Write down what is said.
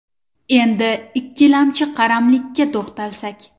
Endi ikkilamchi qaramlik ka to‘xtalsak.